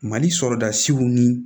Mali sɔrɔdasiw ni